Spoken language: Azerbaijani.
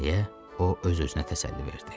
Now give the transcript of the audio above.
Deyə o öz-özünə təsəlli verdi.